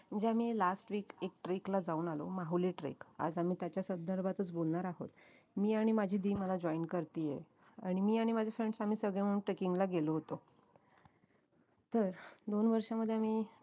म्हणजे आम्ही last week एक trek ला जाऊन आलो माहुली trek आज आम्ही त्याच्या संदर्भातच बोलणार आहोत मी आणि माझी दि मला join करतेय आणि मी आणि माझे friends आम्ही सगळे मिळून trekking ला गेलो होतो तर दोन वर्षामध्ये आम्ही